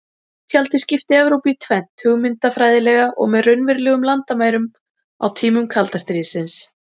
Járntjaldið skipti Evrópu í tvennt hugmyndafræðilega og með raunverulegum landamærum á tímum kalda stríðsins.